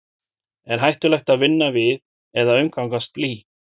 er hættulegt að vinna við eða umgangast blý